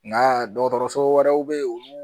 Nka dɔgɔtɔrɔso wɛrɛw bɛ yen olu